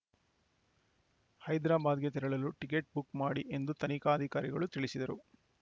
ಹೈದ್ರಾಬಾದ್‌ಗೆ ತೆರಳಲು ticket book ಮಾಡಿ ಎಂದು ತನಿಖಾಧಿಕಾರಿಗಳು ತಿಳಿಸಿದರು